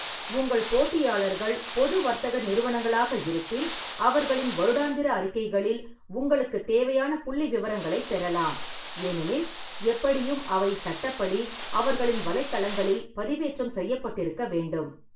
உங்கள் போட்டியாளர்கள் பொது வர்த்தக நிறுவனங்களாக இருப்பின், அவர்களின் வருடாந்திர அறிக்கைகளில் உங்களுக்குத் தேவையான புள்ளிவிவரங்களைப் பெறலாம், ஏனெனில் எப்படியும் அவை சட்டப்படி அவர்களின் வலைத்தளங்களில் பதிவேற்றம் செய்யப்பட்டிருக்க வேண்டும்.